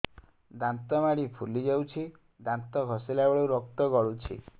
ଦାନ୍ତ ମାଢ଼ୀ ଫୁଲି ଯାଉଛି ଦାନ୍ତ ଘଷିଲା ବେଳକୁ ରକ୍ତ ଗଳୁଛି